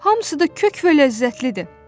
Hamısı da kök və ləzzətlidir.